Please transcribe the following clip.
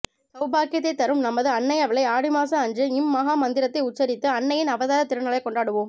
சௌபாக்கியததை தரும் நமது அன்னையவளை ஆடி அமாவாசை அன்று இம் மஹா மந்திரத்தை உச்சரித்து அன்னையின் அவதார திருநாளை கொண்டாடுவோம்